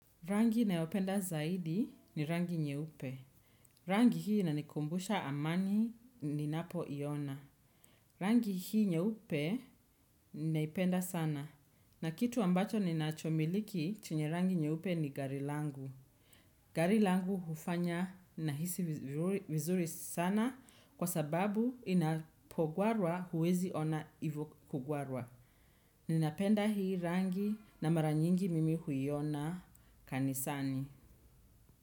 Rangi ninayopenda zaidi ni rangi nyeupe. Rangi hii inanikumbusha amani ninapoiona. Rangi hii nyeupe ninaipenda sana. Na kitu ambacho ninachomiliki chenye rangi nyeupe ni gari langu. Gari langu hufanya nahisi vizuri sana kwa sababu inapogwarwa huwezi ona hiyo kugwarwa. Ninapenda hii rangi na mara nyingi mimi huiona kanisani.